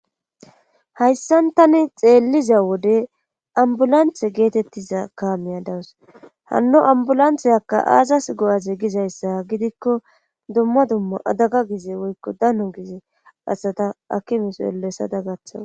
Hayssan tani xeelliza wode ambulanthe geetettiza kaamiya dawus hanno ambulanthezakka aazas go7aze gizayssa gidikko dumma dumma adaga gize woykko dano gize asata akimiso ele sada gaththawa.